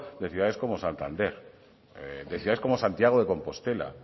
de ciudades como santander de ciudades como santiago de compostela